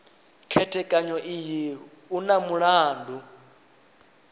khethekanyo iyi u na mulandu